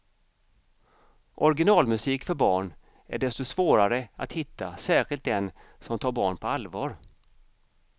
Originalmusik för barn är desto svårare att hitta, särskilt den som tar barn på allvar.